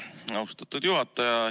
Aitäh, austatud juhataja!